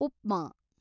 upma